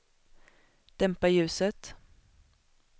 dämpa ljuset